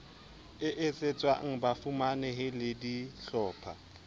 e etsetswang bafumanehi le dihlopha